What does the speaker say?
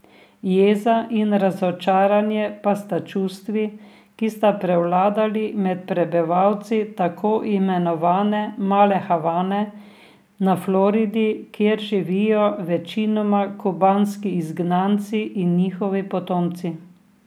Jeza in razočaranje pa sta čustvi, ki sta prevladali med prebivalci tako imenovane Male Havane na Floridi, kjer živijo večinoma kubanski izgnanci in njihovi potomci.